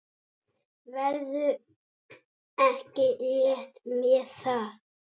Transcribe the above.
Ferðu ekki létt með það?